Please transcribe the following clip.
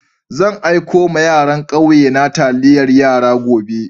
Zan aiko ma yaran kauye na taliyar yara gobe.